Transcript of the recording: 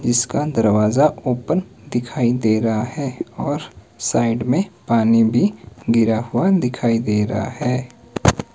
इसका दरवाजा ओपन दिखाई दे रहा है और साइड में पानी भी गिरा हुआ दिखाई दे रहा है।